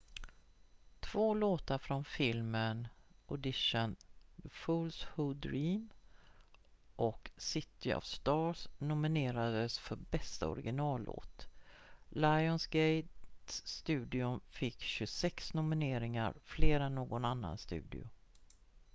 två låtar från filmen audition the fools who dream och city of stars nominerades för bästa originallåt. lionsgate-studion fick 26 nomineringar – fler än någon annan studio